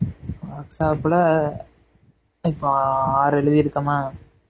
workshop ல இப்போ ஆறு எழுதிருக்கோமா